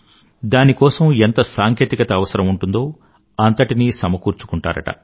దాని కోసం ఎంత సాంకేతికత అవసరం ఉంటుందో అంతటినీ సమకూర్చుకుంటారుట